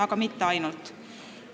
Aga mitte ainult.